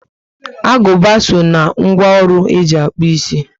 Aguba so ná ńgwọ ọrụ e ji akpu ịsị